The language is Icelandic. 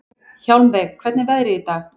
Hjálmveig, hvernig er veðrið í dag?